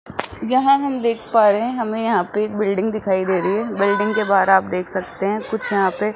यहां हम देख पा रहे हैं हमें यहां पे एक बिल्डिंग दिखाई दे रही है बिल्डिंग के बाहर आप देख सकते हैं कुछ यहां पे --